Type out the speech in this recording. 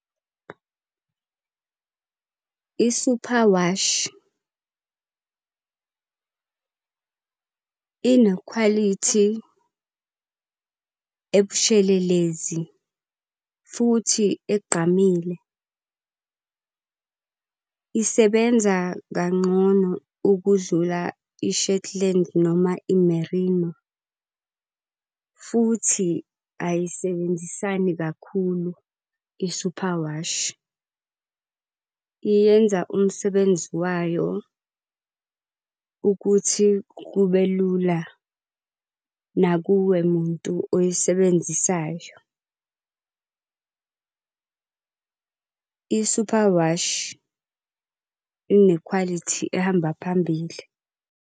I-superwash, inekhwalithi ebushelelezi futhi egqamile. Isebenza kangcono ukudlula i-shetland noma i-merino. Futhi ayisebenzisani kakhulu i-superwash, iyenza umsebenzi wayo ukuthi kube lula, nakuwe muntu oyisebenzisayo. I-superwash inekhwalithi ehamba phambili.